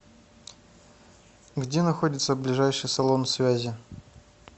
где находится ближайший салон связи